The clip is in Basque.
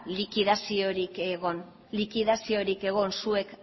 likidaziorik egon likidaziorik egon zuek